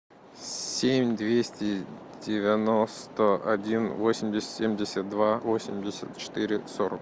семь двести девяносто один восемьдесят семьдесят два восемьдесят четыре сорок